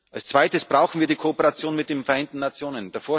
Als Zweites brauchen wir die Kooperation mit den Vereinten Nationen.